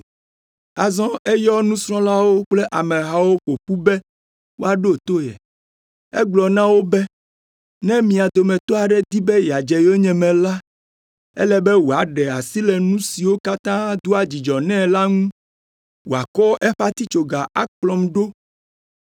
Azɔ eyɔ nusrɔ̃lawo kple amehawo ƒo ƒu be woaɖo to ye. Egblɔ na wo be, “Ne mia dometɔ aɖe di be yeadze yonyeme la, ele be wòaɖe asi le nu siwo katã doa dzidzɔ nɛ la ŋu, wòakɔ eƒe atitsoga akplɔm ɖo.